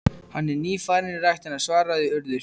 Hann er nýfarinn í ræktina- svaraði Urður.